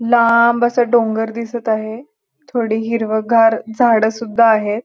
लांब असा डोंगर दिसत आहे थोडी हिरवगार झाड सुद्धा आहेत.